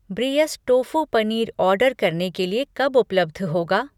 ब्रियस tofu paneer order करने के लिए कब उपलब्ध होगा?